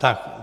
Tak.